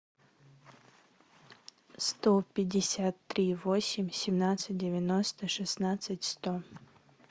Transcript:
сто пятьдесят три восемь семнадцать девяносто шестнадцать сто